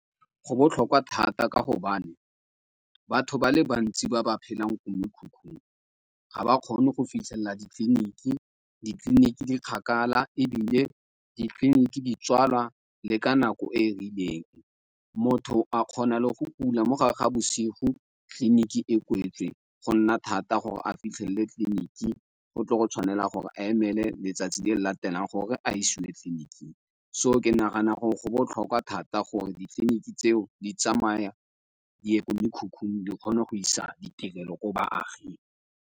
Go botlhokwa thata ka gobane batho ba le bantsi ba ba phelang ko mekhukhung ga ba kgone go fitlhelela ditleliniki. Ditleliniki di kgakala, ebile ditleliniki di tswalwa le ka nako e e rileng. Motho a kgona le go kula mogare ga bosigo, tleliniki e kwetswe, go nna thata gore a fitlhelele tleliniki. Go go tshwanela gore a emele letsatsi le le latelang gore a isiwe tleliniking, so ke nagana gore go botlhokwa thata gore ditleliniki tseo di tsamaya, ko mekhukhung, di kgone go isa ditirelo ko baaging.